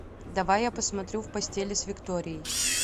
давай я посмотрю в постели с викторией